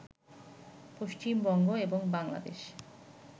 পশ্চিমবঙ্গ এবং বাংলাদেশ